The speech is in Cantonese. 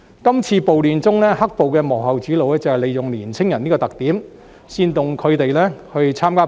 今次暴亂中，"黑暴"的幕後主腦正是利用年青人這個特點，煽動他們參加暴亂。